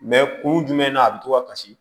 kun jumɛn na a bi to ka kasi